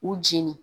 U jeni